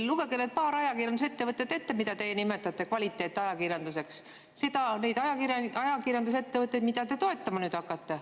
Lugege need paar ajakirjandusettevõtet ette, mida te kvaliteetajakirjandusega ja mida nüüd toetama hakkate.